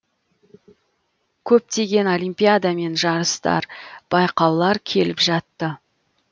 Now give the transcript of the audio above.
көптеген олимпиада мен жарыстар байқаулар келіп жатты